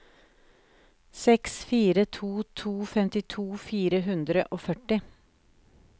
seks fire to to femtito fire hundre og førti